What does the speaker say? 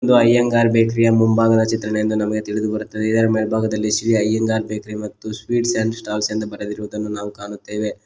ಒಂದು ಅಯ್ಯಂಗಾರ್ ಬೇಕರಿ ಯ ಮುಂಭಾಗದ ಚಿತ್ರಣ ಎಂದು ನಮಗೆ ತಿಳಿದು ಬರುತ್ತದೆ ಇದರ ಮೆಲ್ಬಾಗದಲ್ಲಿ ಶ್ರೀ ಅಯ್ಯಂಗಾರ್ ಬೇಕರಿ ಮತ್ತು ಸ್ವೀಟ್ಸ್ ಅಂಡ್ ಸ್ಟಾಲ್ಸ್ ಎಂದು ಬರೆದಿರುದನ್ನು ನಾವು ಕಾಣುತ್ತೆವೆ.